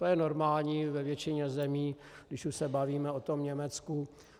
To je normální ve většině zemí, když už se bavíme o tom Německu.